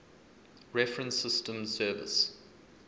reference systems service